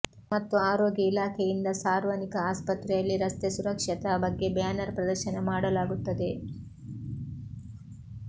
ಮತ್ತು ಆರೋಗ್ಯ ಇಲಾಖೆಯಿಂದ ಸಾರ್ವನಿಕ ಆಸ್ಪತ್ರೆಯಲ್ಲಿ ರಸ್ತೆ ಸುರಕ್ಷತಾ ಬಗ್ಗೆ ಬ್ಯಾನರ್ ಪ್ರದರ್ಶನ ಮಾಡಲಾಗುತ್ತದೆ